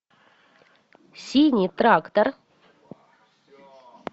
синий трактор